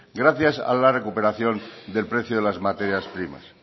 gracias a la recuperación del precio de las materias primas